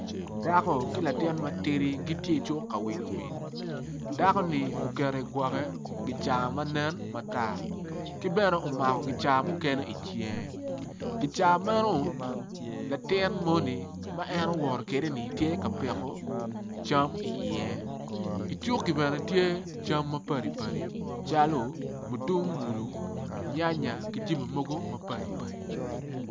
Dako ki latin matidi gitye icuk kawilo wil dako ni oketo igwoke kicaa manen matar ki bene omako kicaa mukene icinge kicaa meno latin moni ma en owoto kede ni tye ka piko cam i iye icuki bene tye cam ma padi padi calo mutungulu nyanya ki jami mogo mapadi padi